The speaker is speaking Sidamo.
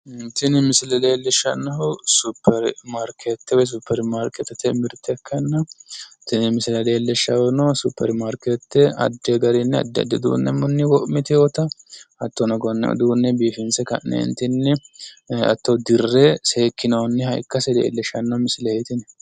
Tini misile leellishshannohu suppermaarkeetete woy suppermaarkeetete mirte ikkanna tini misile leellishshahu suppermaarkeetete addi garinni addi addi garinni uduunnunni wo'miteewota hattono konne uduunne biifinse ka'neenti hatto dirre seekkinoonniha ikkasi leellisshanno misileeti